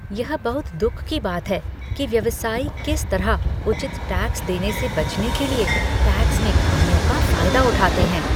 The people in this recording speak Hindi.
यह बहुत दुख की बात है कि व्यवसायी किस तरह उचित टैक्स देने से बचने के लिए टैक्स में खामियों का फायदा उठाते हैं